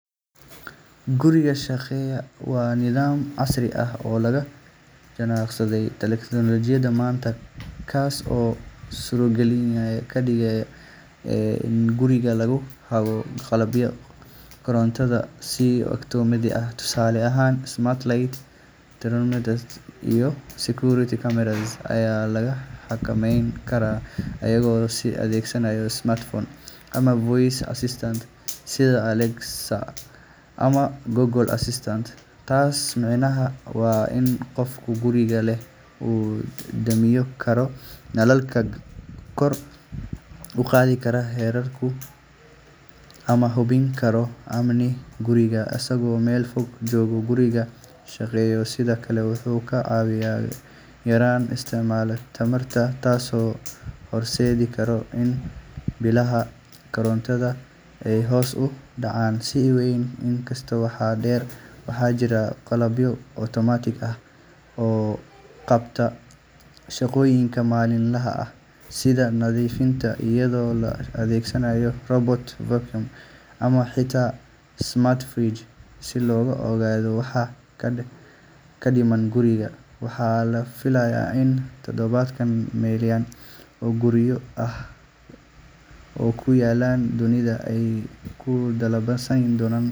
Guriga shaqeeya waa nidaam casri ah oo la jaanqaadaya teknoolojiyadda maanta, kaas oo suurtagal ka dhigaya in guriga lagu hago qalabka korontada si otomaatig ah. Tusaale ahaan, smart lights, thermostats iyo security cameras ayaa la xakameyn karaa iyadoo la adeegsanayo smartphone ama voice assistant sida Alexa ama Google Assistant. Taas micnaheedu waa in qofka guriga leh uu damin karo nalalka, kor u qaadi karo heerkulka, ama hubin karo amniga guriga isagoo meel fog jooga. Guriga shaqeeya sidoo kale wuxuu ka caawiyaa yareynta isticmaalka tamarta, taasoo horseedi karta in biilasha korontada ay hoos u dhacaan si weyn. Intaa waxaa dheer, waxaa jira qalabyo automated ah oo qabta shaqooyinka maalinlaha ah sida nadiifinta, iyadoo la adeegsanayo robot vacuum ama xitaa smart fridge si loo ogaado waxa ka dhiman guriga. Waxaa la filayaa in tobannaan milyan oo guryo ah oo ku yaalla dunida ay ku qalabaysan doonaan.